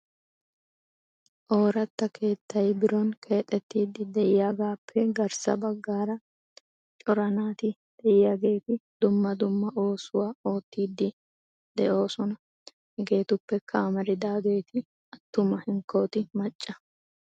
Oorata keettay biron keexxetiidi diyaagappe garssa baggaara cora naati diyaageeti dumma dumma oosuwaa oottide de'oosona. Hegetuppekka amaridaageeti attuma hinkkoti qassi macca.